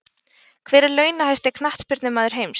Hver er launahæsti Knattspyrnumaður heims?